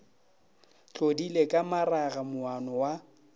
tlodile ka maraga moana wa